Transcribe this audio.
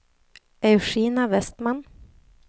Eugenia Westman